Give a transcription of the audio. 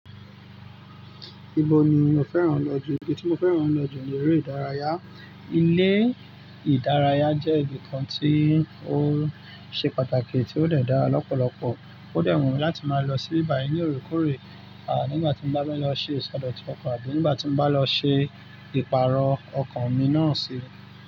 Ibo ni o fẹ́ràn lọ jù? Ibi tí mo fẹ́ràn lọ jù ni eré ìdárayá. Ilé ìdárayá jẹ́ ibi kan tí ó ṣe pàtàkì tí ó de dáa lọ́pọ̀lọpọ̀. Ó de wúnmi láti máa lọ sí ibi bayii ní òrekore, nígbà tí mo bá ń lọ ṣe ìsọdọ̀tún ọkọ̀ àbí nígbà tí mo bá lọ ṣe ìpààrọ̀ ọkọ̀ mi náà sì.